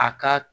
A ka